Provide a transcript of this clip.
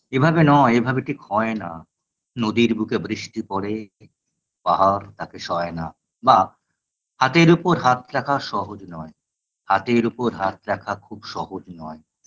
এভাবে নয় এভাবে ঠিক হয়না নদীর বুকে বৃষ্টি পড়ে পাহাড় তাকে সয়না বা হাতর উপর হাত রাখা সহজ নয় হাতের উপর হাত রাখা খুব সহজ নয়